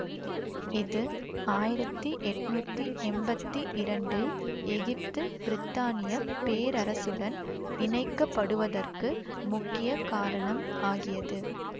இது ஆயிரத்தி எட்ணூத்தி எம்பத்தி இரண்டு எகிப்து பிரித்தானிய பேரரசுடன் இணைக்க படுவதற்கு முக்கிய காரணம் ஆகியது